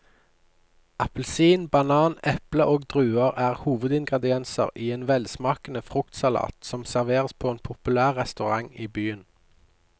Appelsin, banan, eple og druer er hovedingredienser i en velsmakende fruktsalat som serveres på en populær restaurant i byen.